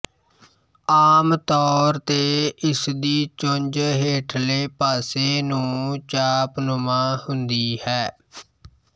ਆਮ ਤੌਰ ਤੇ ਇਸਦੀ ਚੁੰਝ ਹੇਠਲੇ ਪਾਸੇ ਨੂੰ ਚਾਪਨੁਮਾ ਹੁੰਦੀ ਹੈ